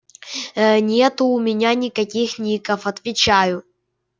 ээ нету у меня никаких ников отвечаю